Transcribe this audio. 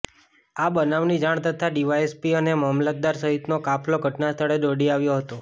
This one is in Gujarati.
આ બનાવની જાણ તથા ડીવાયએસપી અને મામલતદાર સહિતનો કાફલો ઘટનાસ્ળે દોડી આવ્યો હતો